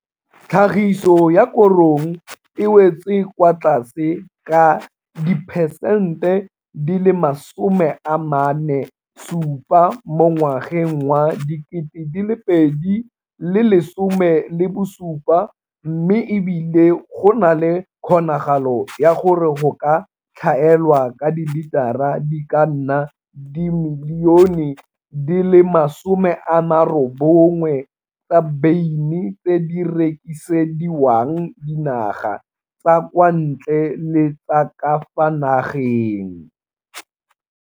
Tlhagiso ya korong e wetse kwa tlase ka diperesente 47 mo ngwageng wa 2017 mme e bile go na le kgonagalo ya gore go ka tlhaelwa ka dilitara di ka nna dimilione di le 90 tsa beine tse di rekisediwang dinaga tsa kwa ntle le tsa ka fa nageng.